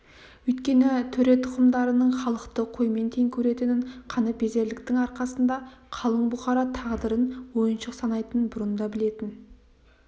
өйткені төре тұқымдарының халықты қоймен тең көретінін қаныпезерліктің арқасында қалың бұқара тағдырын ойыншық санайтынын бұрын да білетін